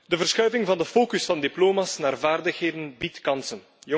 De verschuiving van de focus van diploma's naar vaardigheden biedt kansen.